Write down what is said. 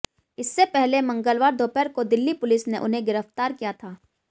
इससे पहले मंगलवार दोपहर को दिल्ली पुलिस ने उन्हें गिरफ्तार किया था